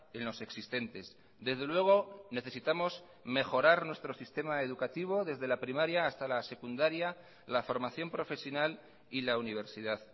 en los existentes desde luego necesitamos mejorar nuestro sistema educativo desde la primaria hasta la secundaria la formación profesional y la universidad